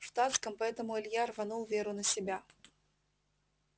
в штатском поэтому илья рванул веру на себя